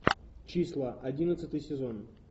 числа одиннадцатый сезон